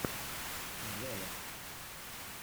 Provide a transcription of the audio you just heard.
джелот